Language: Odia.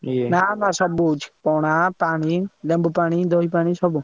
ନା ନା ସବୁ ହଉଛି ପଣା ପାଣି, ଲେମ୍ବୁ ପାଣି, ଦହି ପାଣି ସବୁ।